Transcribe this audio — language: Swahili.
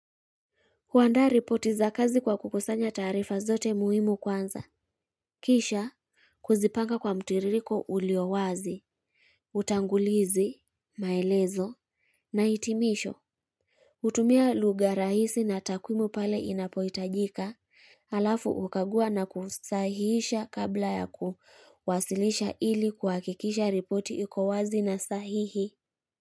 Huandaa ripoti za kazi kwa kukusanya taarifa zote muhimu kwanza. Kisha, kuzipanga kwa mtiririko uliowazi, utangulizi, maelezo, na hitimisho. Hutumia lugha rahisi na takwimu pale inapoitajika, halafu ukagua na kusahisha kabla ya kuwasilisha ili kuwakikisha ripoti iko wazi na sahihi.